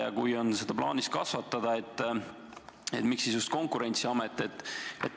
Ja kui on plaanis seda kasvatada, siis miks just Konkurentsiamet?